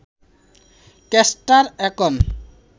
castor একন